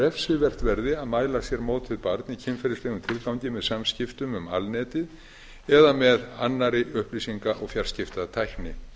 refsivert verði að mæla sér mót við barn með kynferðislegum tilgangi með samskiptum um alnetið eða með annarri upplýsinga og fjarskiptatækni